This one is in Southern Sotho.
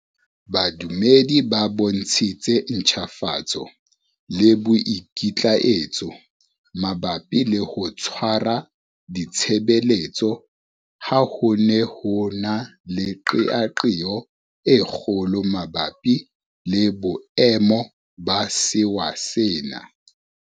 Badumedi ba bontshitse ntjhafatso le boikitlaetso mabapi le ho tshwara ditshebeletso ha ho ne ho na le qeaqeo e kgolo mabapi le boemo ba sewa sena.